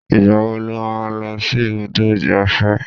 Ìgbà wo lo máa ń lọ sí ibùdó ìgbáfẹ́?